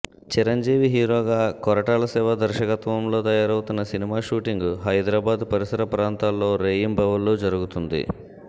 చిరంజీవి హీరోగా కొరటాల శివ దర్శకత్వంలో తయారవుతున్న సినిమా షూటింగ్ హైదరాబాద్ పరిసర ప్రాంతాల్లో రేయింబవళ్లు జరుగుతోంది